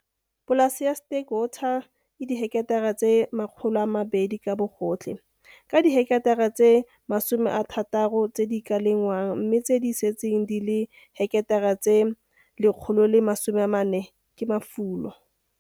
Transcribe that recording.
Polase ya Sterkwater e diheketara tse 200 ka bogotlhe, ka diheketara tse 60 tse di ka lengwang mme tse di setseng di le dihketara tse 140 ke mafulo.